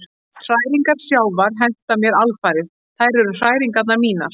Hræringar sjávar henta mér alfarið, þær eru hræringar mínar.